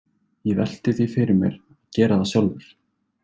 Ég velti því fyrir mér að gera það sjálfur.